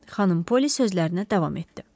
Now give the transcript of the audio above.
Xanım Poli sözlərinə davam etdi.